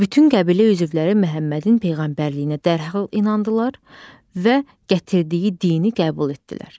Bütün qəbilə üzvləri Məhəmmədin peyğəmbərliyinə dərhal inandılar və gətirdiyi dini qəbul etdilər.